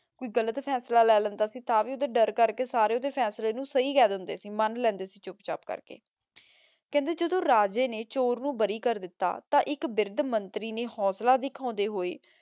ਕੋਈ ਗਲਤ ਫੈਸਲਾ ਲੇ ਲੈਂਦਾ ਸੀ ਤਾਂ ਵੀ ਓਦੇ ਦਰ ਕਰ ਕੇ ਸਾਰੇ ਓਦੇ ਫੈਸਲੇ ਨੂ ਸਹੀ ਕਹ ਦੇਂਦੇ ਸੀ ਮਾਨ ਲੈਂਦੇ ਸੀ ਛੁਪ ਚਾਪ ਕਰ ਕੇ ਕੇਹ੍ਨ੍ਡੇ ਜਦੋਂ ਰਾਜੇ ਨੇ ਚੋਰ ਨੂ ਬਾਰੀ ਕਰ ਦਿਤਾ ਤਾਂ ਏਇਕ ਵਿਰ੍ਧ ਮੰਤਰੀ ਨੇ ਹੋਸਲਾ ਦਿਖਾਨ੍ਡੇ ਹੋਆਯ